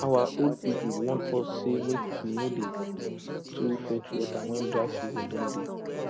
our old people warn us say make we no dey too fetch water when dry season don dey